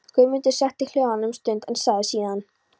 Guðmund setti hljóðan um stund en sagði síðan